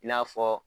I n'a fɔ